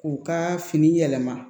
K'u ka fini yɛlɛma